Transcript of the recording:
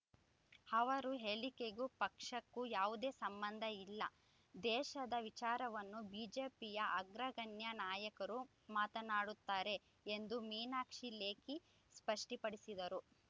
ಅವರು ಹೇಳಿಕೆಗೂ ಪಕ್ಷಕ್ಕೂ ಯಾವುದೇ ಸಂಬಂಧ ಇಲ್ಲ ದೇಶದ ವಿಚಾರವನ್ನು ಬಿಜೆಪಿಯ ಅಗ್ರಗಣ್ಯ ನಾಯಕರು ಮಾತನಾಡುತ್ತಾರೆ ಎಂದು ಮೀನಾಕ್ಷಿ ಲೇಖಿ ಸ್ಪಷ್ಟಿಪಡಿಸಿದರು